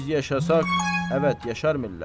Biz yaşasaq, əvət, yaşar millət.